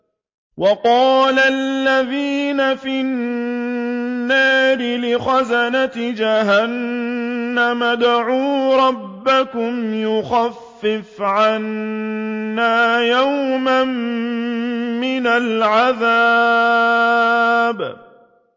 وَقَالَ الَّذِينَ فِي النَّارِ لِخَزَنَةِ جَهَنَّمَ ادْعُوا رَبَّكُمْ يُخَفِّفْ عَنَّا يَوْمًا مِّنَ الْعَذَابِ